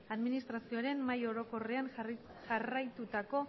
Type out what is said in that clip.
administrazioaren mahai orokorrean jarraitutako